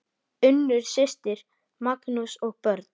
Unnur systir, Magnús og börn.